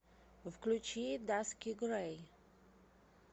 включи даски грэй